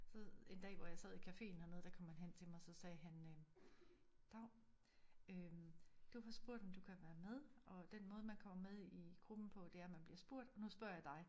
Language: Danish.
Så en dag hvor jeg sad i caféen hernede der kom han hen til mig så sagde han øh dav øh du har spurgt om du kan være med og den måde man kommer med i gruppen på det er at man bliver spurgt og nu spørger jeg dig